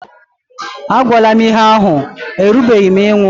A gwala m ihé ahụ, erubeghị m ịnwụ!